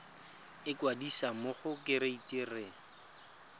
ikwadisa mo go kereite r